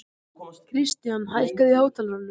Kristian, hækkaðu í hátalaranum.